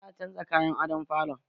Za a canza kayan adon falon